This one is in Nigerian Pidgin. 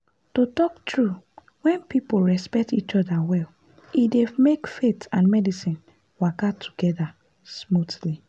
to talk true when people respect each other well e dey make faith and medicine waka together smoothly.